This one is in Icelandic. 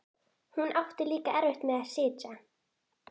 Hún átti líka erfitt með að sitja.